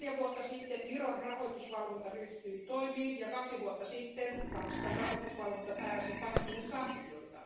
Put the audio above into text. Neljä vuotta sitten Viron rahoitusvalvonta ryhtyi toimiin, ja kaksi vuotta sitten Tanskan rahoitusvalvonta määräsi pankille sanktioita.